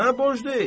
Sənə borc deyil.